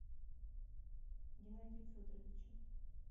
геннадию федоровичу